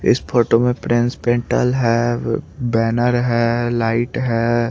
इस फोटो में prince printer है बैनर है लाइट है।